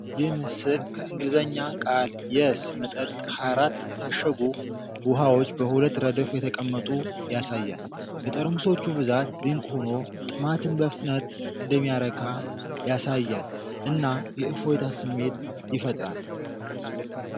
ይህ ምስል ከ በእንግልዘኛ ቃል'የስ' መጠጥ 24 የታሸጉ ውኃዎች በሁለት ረድፍ የተቀመጡ ያሳያል። የጠርሙሶቹ ብዛት ድንቅ ሆኖ ጥማትን በፍጥነት እንደሚያረካ ያሳያልና የእፎይታ ስሜት ይፈጥራል።